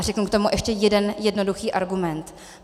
A řeknu k tomu ještě jeden jednoduchý argument.